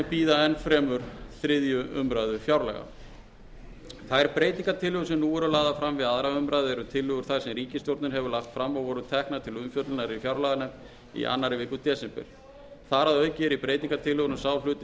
bíða enn fremur þriðju umræðu fjárlaga þær breytingartillögur sem nú eru lagðar fram við aðra umræðu eru tillögur þær sem ríkisstjórnin hefur lagt fram og voru teknar til umfjöllunar í fjárlaganefnd í annarri viku desember þar að auki er í breytingartillögunum sá hluti